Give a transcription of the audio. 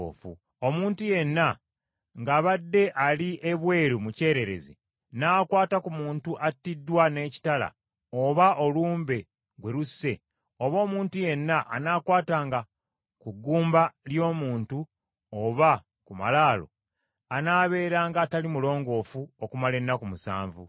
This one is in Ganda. “Omuntu yenna ng’abadde ali ebweru mu kyererezi, n’akwata ku muntu attiddwa n’ekitala oba olumbe gwe lusse, oba omuntu yenna anaakwatanga ku ggumba ly’omuntu oba ku malaalo, anaabeeranga atali mulongoofu okumala ennaku musanvu.